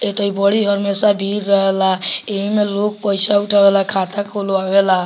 एता इ बड़ी हमेसा भीड़ रहे ला एही में लोग पैसा उठावेला खाता खुलवावे ला।